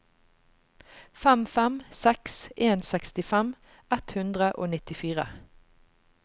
fem fem seks en sekstifem ett hundre og nittifire